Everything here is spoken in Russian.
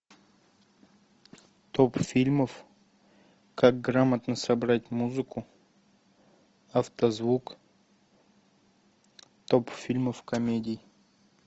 топ фильмов как грамотно собрать музыку автозвук топ фильмов комедий